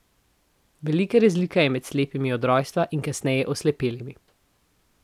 Velika razlika je med slepimi od rojstva in kasneje oslepelimi.